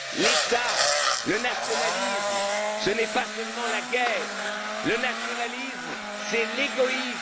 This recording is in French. L'État, le nationalisme, ce n'est pas seulement la guerre, le nationalisme, c'est l'égoïsme.